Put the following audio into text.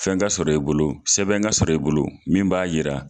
Fɛn ka sɔrɔ i bolo sɛbɛn ka sɔrɔ i bolo min b'a yira